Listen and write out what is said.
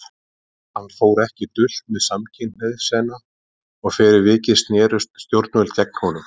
Hann fór ekki dult með samkynhneigð sína og fyrir vikið snerust stjórnvöld gegn honum.